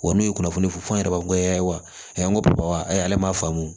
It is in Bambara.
Wa n'u ye kunnafoni fɔ fɔ an yɛrɛ ye wa a ko ayi ale ma faamu